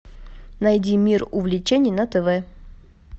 найди мир увлечений на тв